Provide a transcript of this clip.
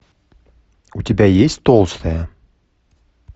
у тебя есть толстая